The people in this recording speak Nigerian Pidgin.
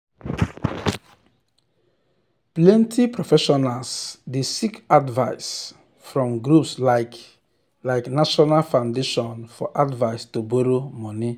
plenty professionals dey seek advice from groups like like national foundation for advise to borrow money